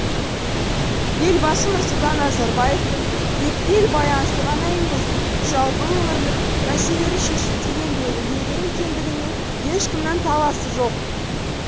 елбасы нұрсұлтан назарбаевтың екі ел байланысы ғана емес жалпы өңірлік мәселелерді шешуде еңбегі ерен екендігіне ешкімнің таласы жоқ